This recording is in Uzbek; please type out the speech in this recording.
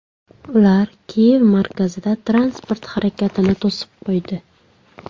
Ular Kiyev markazida transport harakatini to‘sib qo‘ydi.